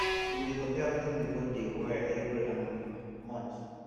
dem dey compare wetin the goat dey weigh every um month